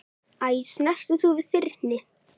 Æ, snertir þú við þyrni?